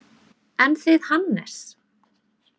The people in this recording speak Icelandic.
En þið Hannes?